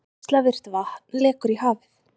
Geislavirkt vatn lekur í hafið